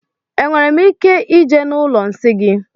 Enwere m ike ije na ụlọ nsị gị?